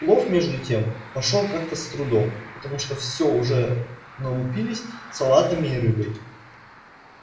плов между тем пошёл как-то с трудом потому что всё уже налупились салатами и рыбой